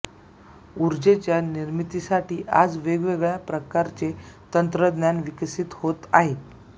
ऊर्जेच्या निर्मितीसाठी आज वेगवेगळ्या प्रकारचे तंत्रज्ञान विकसित होत आहे